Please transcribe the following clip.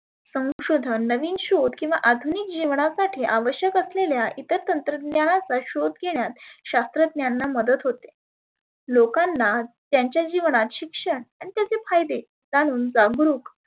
संशोधन किंवा नविन शोध किंवा अधुनीक जिवनासाठी आवश्यक असलेल्या इतर तंत्रज्ञाचा शोध घेण्यास शास्त्रज्ञांना मदत होते. लोकांना त्यांच्या जिवनात शिक्षण आणि त्याचे फायदे जाणून जागृक